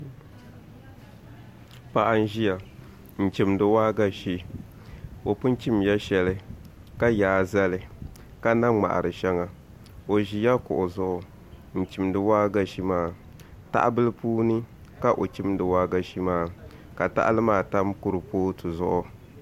Paɣa n ʒiya n chimdi waagashe o pun chimla shɛli ka yaa zali ka na ŋmahari shɛŋa o ʒila kuɣu zuɣu n chimdi waagashe maa tahabili puuni ka o chimdi waagashe maa ka tahali maa tam kuripooti zuɣu